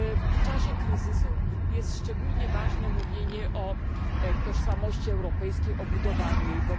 W czasie kryzysu jest szczególnie ważne mówienie o tożsamości europejskiej, o budowaniu jej.